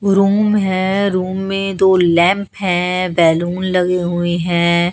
Room है room में दो लैंप है बैलून लगी हुई हैं।